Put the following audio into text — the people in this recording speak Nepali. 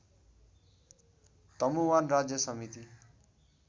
तमुवान राज्य समिति